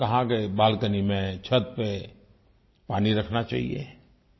उन्होंने कहा कि बालकनी में छत पर पानी रखना चाहिये